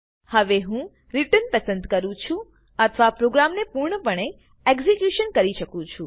હવે હું રિટર્ન પસંદ કરૂ છુ અથવા પ્રોગ્રામને પૂર્ણપણે એક્ઝેક્યુશન કરી શકું છુ